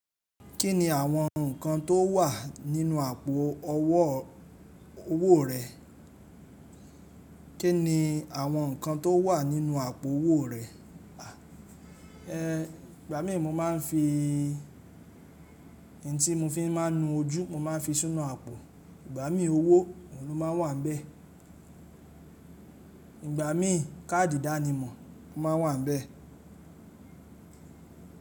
Kí ni àwọn nǹkan tó wà nínú àpò owó rẹ? Kí ni àwọn nǹkan tó wà nínú àpò owó rẹ? Ẹ̀, ìgbà mí mo máa ń fi n tí mo fi máa ń nu ojú, mo máa ń fi sinu àpò. Ìgbà mí owó ohun ló máa n wà ńbẹ̀. Ìgbà mí káàdì ìdánimọ̀ máa n wà ńbẹ̀